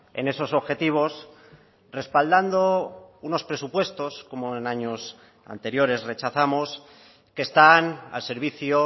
en esos objetivos respaldando unos presupuestos como en años anteriores rechazamos que están al servicio